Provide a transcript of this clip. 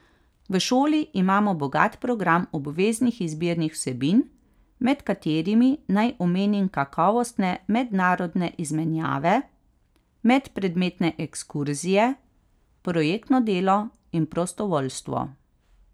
V šoli imamo bogat program obveznih izbirnih vsebin, med katerimi naj omenim kakovostne mednarodne izmenjave, medpredmetne ekskurzije, projektno delo in prostovoljstvo.